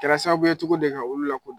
Kɛra sababu ye cogo di ka olu lakodɔn